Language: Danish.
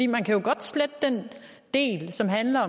man kan jo godt slette den del som handler